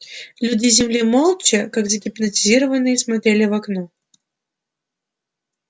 люди с земли молча как загипнотизированные смотрели в окно